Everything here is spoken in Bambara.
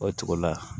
O togo la